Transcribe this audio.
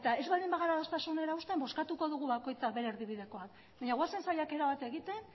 ez baldin bagara adostasunera uzten bozkatuko dugu bakoitzak bere erdibidekoa baina goazen saiakera bat egiten